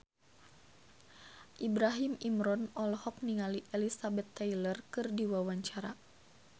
Ibrahim Imran olohok ningali Elizabeth Taylor keur diwawancara